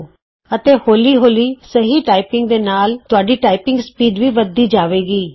ਅਪਣੇ ਵਕਤ ਦੇ ਹਿਸਾਬ ਨਾਲ ਅਤੇ ਹੌਲੀ ਹੌਲੀ ਸਹੀ ਟਾਈਪਿੰਗ ਦੇ ਨਾਲ ਨਾਲ ਤੁਹਾਡੀ ਟਾਈਪਿੰਗ ਸਪੀਡ ਵੀ ਵੱਧਦੀ ਜਾਵੇਗੀ